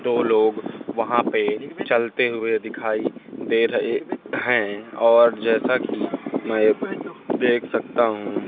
दो लोग वहां पे चलते हुए दिखाई दे रहे हैं और जैसा की मैं देख सकता हूं।